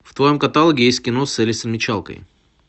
в твоем каталоге есть кино с элисон мичалкой